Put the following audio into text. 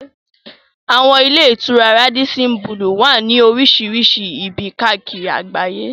Àwọn ilé-ìtura Rádísín bulùù wà ní oríṣìíríṣìí ibi káàkiri àgbáyé.